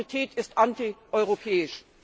Und Austerität ist antieuropäisch.